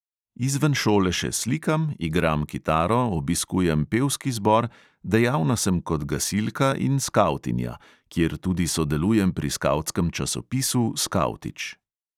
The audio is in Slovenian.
Izven šole še slikam, igram kitaro, obiskujem pevski zbor, dejavna sem kot gasilka in skavtinja, kjer tudi sodelujem pri skavtskem časopisu skavtič.